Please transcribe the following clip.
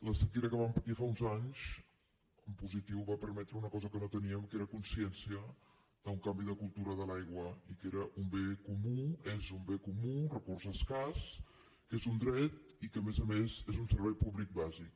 la sequera que vam patir fa uns anys en positiu va permetre una cosa que no teníem que era consciència d’un canvi de cultura de l’aigua i que era un bé comú és un bé comú un recurs escàs que és un dret i que a més a més és un servei públic bàsic